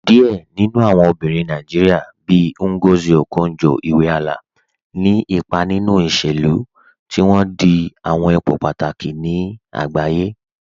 Diẹ̀ nínu awọn obìnrin Nàìjíríà, bíì Ngozi Okonjo-Iweala, ní ìpà nínu ìṣẹ̀lú, tí wọn dì àwọn ìpò pátàkì ní àgbàyé.